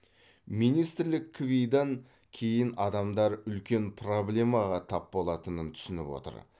министрлік кви дан кейін адамдар үлкен пробламаға тап болатынын түсініп отыр